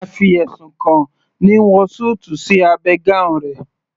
A fi ẹ̀sùn kan ni wọ súùtù sí abẹ́ gown rẹ̀